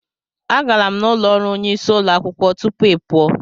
Agara m n'ụlọ ọrụ onyeisi ụlọ akwụkwọ tupu ị pụọ.